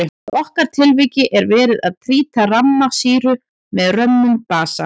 Í okkar tilviki er verið að títra ramma sýru með römmum basa.